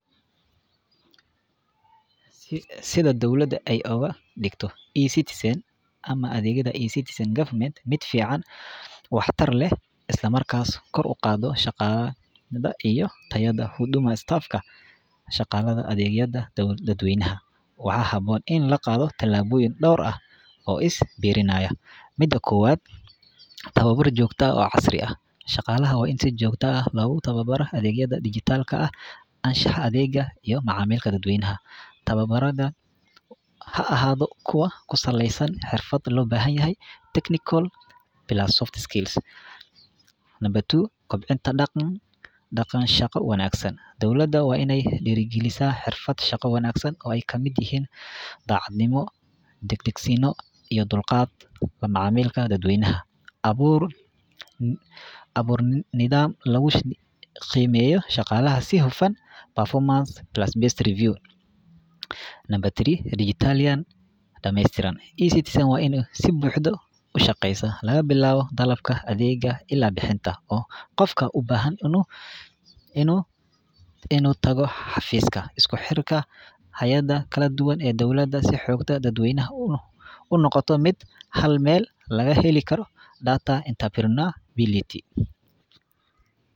Sida dowlada aay uga digto ecitizan ama adeegyada mid fican oo wax tar leh isla markaana kor uqaado amshaqadaha iyo tayada staafka, shaqalada adeegyada dad weynaha waxaa haboon in la qaado tilaboyin door ah oo is biirinaya, mida kowaad tababar joogta ah oo casri ah, shaqalaha waa in si joogta ah loogu tababaro adeegyada dijital anshax adeega iyo macamiilka dad weynaha, tababar ha ahaado mid ku saleeysan xirfad, kobcinta daqan shaqo wanagsan, dowlada waa inaay diiri galisa xirfad shaqo wanagsan oo aay kamid yihiin dacadnimo, dagdagsiino iyo dulqaad, macamilka dad weynaha, abuur nidaam lagu qeybiyo shaqalaha si hufan, waa in si buxda ushaqeesa laga bilaabo dalabka adeega ilaa bixinta, oo qofka ubahan inuu tago xafiiska, isku xirka dowlada iyo dad weynaha, unoqoto mid hal meel laga heli karo.